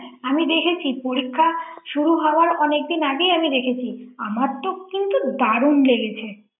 হ্যাঁ আমি দেখেছি পরীক্ষা শুরু হওয়ার অনেকদিন আগেই আমি দেখেছি আমার তো কিন্তু দারুন লেগেছে ৷